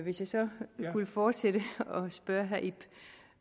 hvis jeg så skulle fortsætte og spørge herre ib